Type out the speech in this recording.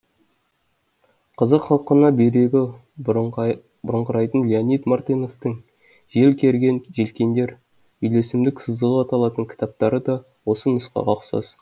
қазақ халқына бүйрегі бұрыңқырайтын леонид мартыновтың жел керген желкендер үйлесімдік сызығы аталатын кітаптары да осы нұсқаға ұқсас